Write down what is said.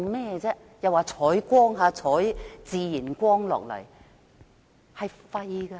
又說要採用自然光，都是沒用的。